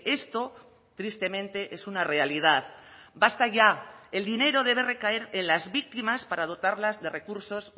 esto tristemente es una realidad basta ya el dinero debe recaer en las víctimas para dotarlas de recursos